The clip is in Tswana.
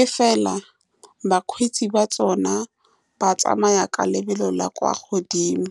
e fela bakgweetsi ba tsone ba tsamaya ka lebelo la kwa godimo.